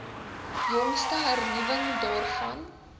jongste hernuwing daarvan